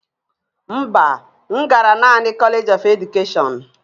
Mba, m gara naanị College of Education